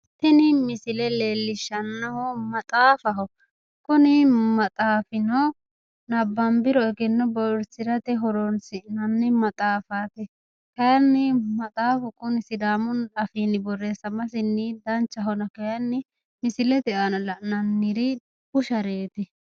tini misile leellishshanohu maxaafaho kuni maxaafino nabbanbiro egenno bowirsirate horonsinanni maxaafaati kayiinni maxaafu kuni sidaamu afiinni borreessamasinni danchahona kayiinni misilete aana la'nanniri bushareeti.